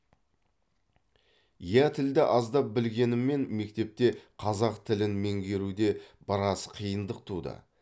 иә тілді аздап білгеніммен мектепте қазақ тілін меңгеруде біраз қиындық туды